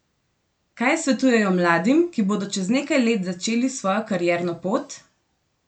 Kaj svetujejo mladim, ki bodo čez nekaj let začeli svojo karierno pot?